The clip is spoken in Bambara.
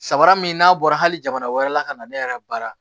Sabara min n'a bɔra hali jamana wɛrɛ la ka na ne yɛrɛ baara